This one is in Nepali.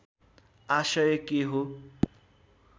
आशय के हो